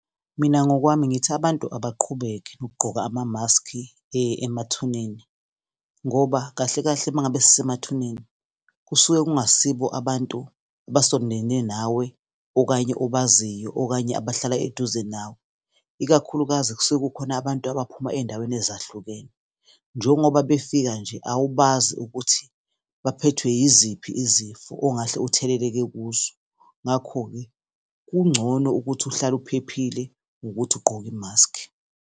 Mina ngokwami ngithi abantu abaqhubeke nokugqoka amamaski emathuneni, ngoba kahle kahle mangabe sisemathuneni kusuke kungasiko abantu abasondelene nawe, okanye obaziyo, okanye abahlala eduze nawe. Ikakhulukazi, kusuke kukhona abantu abaphuma ey'ndaweni ezahlukene, njengoba befika nje, awubazi ukuthi baphethwe yiziphi izifo ongahle utheleleleke kuzo. Ngakho-ke, kungcono ukuthi uhlale uphephile, ngokuthi ugqoke imaskhi.